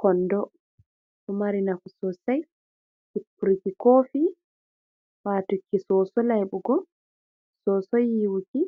Konɗo ɗo mari nafu sosai. Hippruki kofi. Watuki soso laibugo, soso yiwuki.